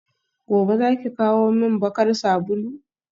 gobe zaki kawo min bakar sabulu?